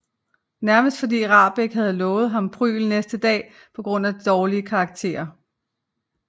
Nærmest fordi Rahbek havde lovet ham prygl næste dag på grund af dårlige karakterer